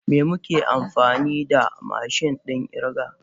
Me muke amfani da mashin din kirga?